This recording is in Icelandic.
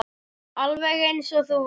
Alveg eins og þú varst.